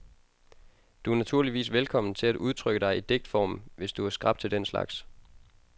Du er naturligvis velkommen til at udtrykke dig i digtform, hvis du er skrap til den slags.